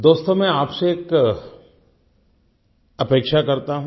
दोस्तो मैं आप से एक अपेक्षा करता हूँ